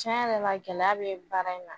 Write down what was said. Cɛn yɛrɛ la gɛlɛya bɛ baara in na